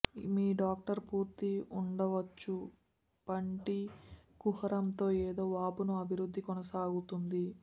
మీ doctor పూర్తి ఉండవచ్చు పంటి కుహరంలో ఏదో వాపును అభివృద్ధి కొనసాగుతుంది